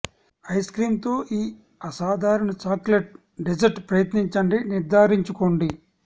ice cream తో ఈ అసాధారణ చాక్లెట్ డెజర్ట్ ప్రయత్నించండి నిర్ధారించుకోండి